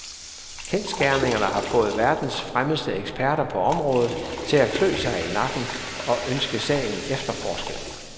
Kendsgerningerne har fået verdens fremmeste eksperter på området til at klø sig i nakken og ønske sagen efterforsket.